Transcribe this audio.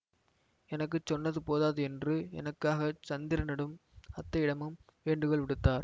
எனக்கு சொன்னது போதாது என்று எனக்காகச் சந்திரனிடம் அத்தையிடமும் வேண்டுகோள் விடுத்தார்